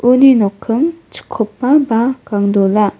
uni nokking chikopa ba gangdola.